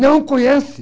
Não conhece.